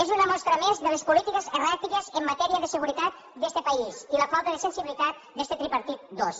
és una mostra més de les polítiques erràtiques en matèria de seguretat d’este país i la falta de sensibilitat d’este tripartit dos